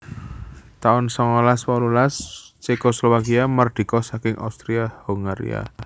taun songolas wolulas Cekoslowakia mardika saking Austria Hongaria